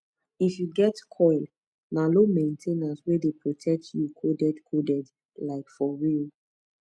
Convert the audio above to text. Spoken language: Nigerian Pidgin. if you get coil na low main ten ance wey dey protect you coded coded like for real